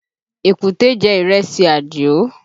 Èkúté jẹ ìrẹsì Àdìó